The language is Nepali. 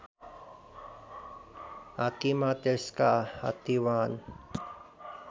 हात्तीमा त्यसका हात्तीवान